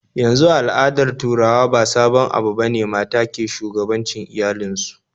Yanzu a al'adar turawa ba sabon abu bane mata ke shugabancin iyalin su